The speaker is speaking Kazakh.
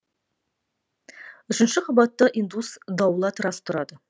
үшінші қабатта индус даулат рас тұрады